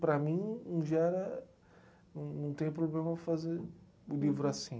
Para mim, em geral, não não tem problema fazer o livro assim.